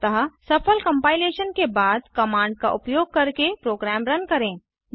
अतः सफल कंपाइलेशन के बाद कमांड का उपयोग करके प्रोग्राम रन करें